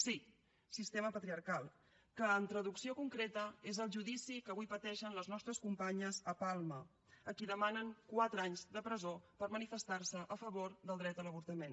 sí sistema patriarcal que en traducció concreta és el judici que avui pateixen les nostres companyes a palma a qui demanen quatre anys de presó per manifestar se a favor del dret a l’avortament